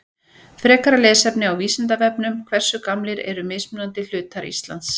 Frekara lesefni á Vísindavefnum Hversu gamlir eru mismunandi hlutar Íslands?